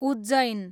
Ujjain